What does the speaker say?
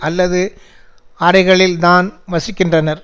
அல்லது அறைகளில்தான் வசிக்கின்றனர்